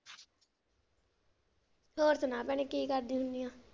ਹੋਰ ਸੁਣਾ ਭੈਣੇ ਕੀ ਕਰਦੀ ਹੁੰਨੀ ਆ?